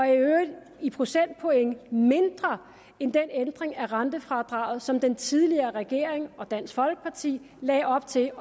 i øvrigt i procentpoint er mindre end den ændring af rentefradraget som den tidligere regering og dansk folkeparti lagde op til